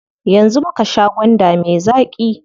Yanzu muka sha gwanda me zaƙi.